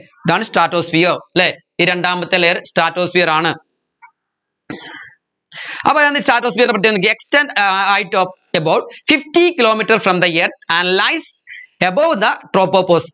ഇതാണ് stratosphere അല്ലെ ഈ രണ്ടാമത്തെ layer stratosphere ആണ് അപ്പോ എന്തി stratosphere ൻറെ പ്രത്യേകത നോക്കിയേ extend ഏർ height of about fifty kilometre from the earth and lies above the tropopause